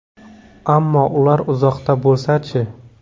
Ammo ular uzoqda bo‘lsa-chi?